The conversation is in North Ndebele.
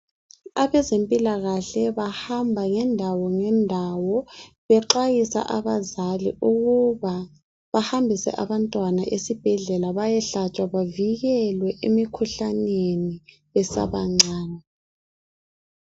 Abezempilakahle bahamba ngendawo ngendawo bexwayisa abazali ukuba bahambise abantwana esibhedlela bayehlatshwa bavikelwe emikhuhlaneni besabancane.